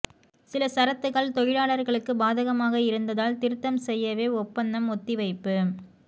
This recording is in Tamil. சில சரத்துகள் தொழிலாளர்களுக்கு பாதகமாக இருந்ததால் திருத்தம் செய்யவே ஒப்பந்தம் ஒத்திவைப்பு